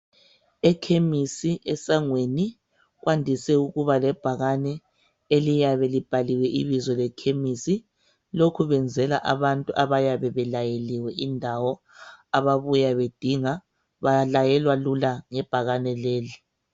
Ekhemisi esangweni kwandise ukuba lebhakane eliyabe libhaliwe ibizo lekhemisi. Lokhu kwenzelwa abantu abayabe belayeliwe indawo ababuya bedinga balayelwa lula ngebhakane leli.